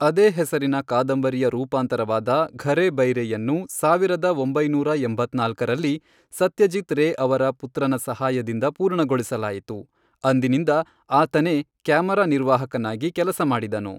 ಅದೇ ಹೆಸರಿನ ಕಾದಂಬರಿಯ ರೂಪಾಂತರವಾದ ಘರೆ ಬೈರೆಯನ್ನು, ಸಾವಿರದ ಒಂಬೈನೂರ ಎಂಬತ್ನಾಲ್ಕರಲ್ಲಿ, ಸತ್ಯಜೀತ್ ರೇ ಅವರ ಪುತ್ರನ ಸಹಾಯದಿಂದ ಪೂರ್ಣಗೊಳಿಸಲಾಯಿತು, ಅಂದಿನಿಂದ ಆತನೇ ಕ್ಯಾಮರ ನಿರ್ವಾಹಕನಾಗಿ ಕೆಲಸ ಮಾಡಿದನು.